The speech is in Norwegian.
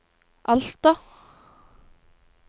Alta